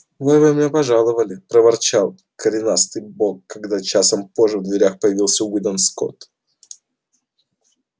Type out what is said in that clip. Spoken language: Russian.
вовремя пожаловали проворчал коренастый бог когда часом позже в дверях появился уидон скотт